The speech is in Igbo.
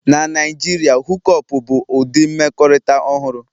Na Naijiria, Hook up bụ ụdị mmekọrịta ọhụrụ